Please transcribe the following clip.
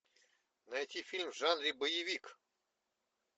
найти фильм в жанре боевик